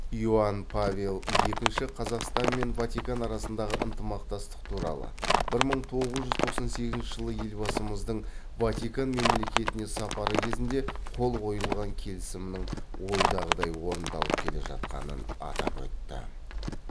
иоанн павел екінші қазақстан мен ватикан арасындағы ынтымақтастық туралы бір мың тоғыз жүз тоқсан сегізінші жылы елбасымыздың ватикан мемлекетіне сапары кезінде қол қойылған келісімнің ойдағыдай орындалып келе жатқанын атап өтті